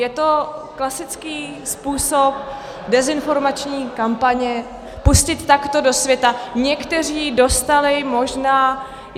Je to klasický způsob dezinformační kampaně, pustit takto do světa - někteří dostali možná.